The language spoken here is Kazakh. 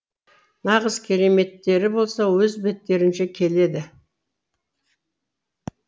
нағыз кереметтері болса өз беттерінше келеді